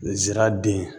N zira den